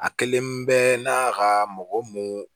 A kelen bɛɛ n'a ka mɔgɔ mun